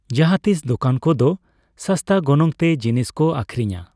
ᱡᱟᱦᱟᱸᱛᱤᱥ ᱫᱚᱠᱟᱱ ᱠᱚᱫᱚ ᱥᱟᱥᱛᱟ ᱜᱚᱱᱚᱝ ᱛᱮ ᱡᱤᱱᱤᱥ ᱠᱚ ᱟᱹᱠᱷᱨᱤᱧᱼᱟ ᱾